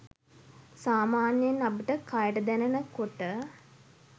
සාමාන්‍යයෙන් අපිට කයට දැනෙන කොට